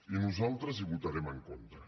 i nosaltres hi votarem en contra